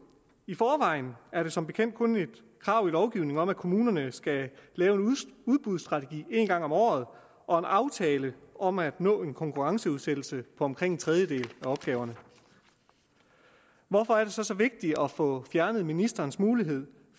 i forvejen er der som bekendt kun et krav i lovgivningen om at kommunerne skal lave en udbudsstrategi en gang om året og en aftale om at nå en konkurrenceudsættelse på omkring en tredjedel af opgaverne hvorfor er det så så vigtigt at få fjernet ministerens mulighed